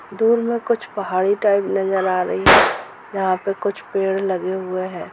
दूर में कुछ पहाड़ी टाइप नजर आ रही है यहा पे कुछ पेड़ लगे हुए है।